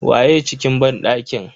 Waye a cikin banɗakin?